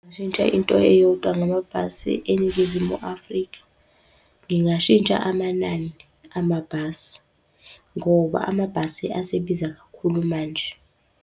Ngingashintsha into eyodwa ngamabhasi eNingizimu Afrika. Ngingashintsha amanani amabhasi, ngoba amabhasi asebiza kakhulu manje.